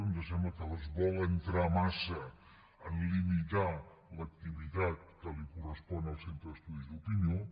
ens sembla que es vol entrar massa a limitar l’activitat que correspon al centre d’estudis d’opinió